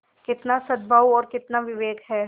कितना सदभाव और कितना विवेक है